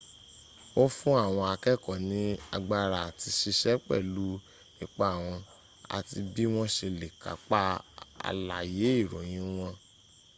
ó fún àwọn akẹ́ẹ̀kọ́ ní agbára àt siṣẹ́ pẹ̀lú ipa wọn àti bí wọ́n se lè kápá àlàyé ìròyìn wọn